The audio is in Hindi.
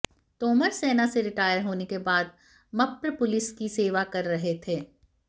तोमर सेना से रिटायर होने के बाद मप्र पुलिस की सेवा कर रहे थे